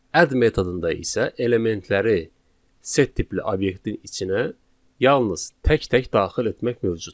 Add metodunda isə elementləri set tipli obyektin içinə yalnız tək-tək daxil etmək mövcuddur.